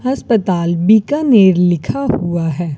हस्पताल बीकानेर लिखा हुआ है।